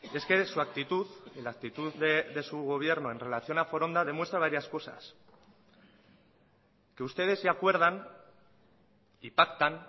es que de su actitud en la actitud de su gobierno en relación a foronda demuestra varias cosas que ustedes se acuerdan y pactan